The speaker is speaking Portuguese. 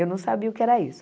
Eu não sabia o que era isso.